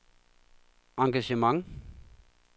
engagement